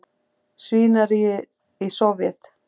svínaríið í Sovét.